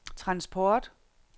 transport